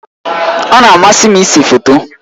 Ọ na-amasị m ịse foto.